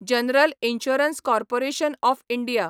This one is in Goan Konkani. general insurance corporation of India